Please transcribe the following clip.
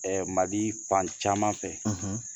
MALI fan caman fɛ